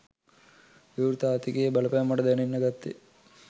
විවෘත ආර්ථිකයේ බලපෑම මට දැනෙන්න ගත්තෙ